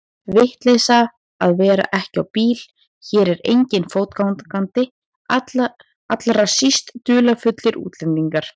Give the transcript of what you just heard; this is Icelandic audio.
Vitleysa að vera ekki á bíl, hér er enginn fótgangandi, allra síst dularfullir útlendingar.